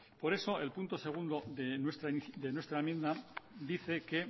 por eso el punto segundo de nuestra enmienda dice que